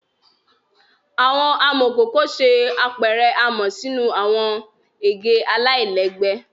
Awọn amọkoko ṣe apẹrẹ amọ sinu awọn ege alailẹgbẹ